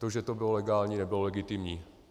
To, že to bylo legální, nebylo legitimní.